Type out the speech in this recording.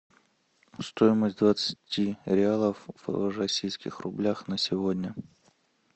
стоимость двадцати реалов в российских рублях на сегодня